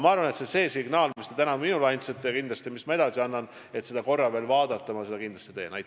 Aga selle signaali, mis te täna minule andsite, et see kõik tuleks veel korra üle vaadata, ma annan kindlasti edasi.